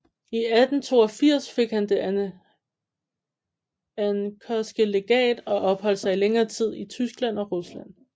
I 1882 fik han Det anckerske Legat og opholdt sig i længere tid i Tyskland og Rusland